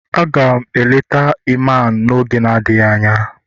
Aga m eleta Iman n'oge adịghị anya